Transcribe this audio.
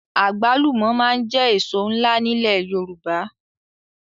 Àgbálùmọ̀ máa ń jẹ́ èso ńlá nílẹ̀ Yorùbá